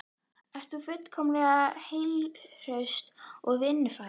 Ert þú fullkomlega heilsuhraustur og vinnufær?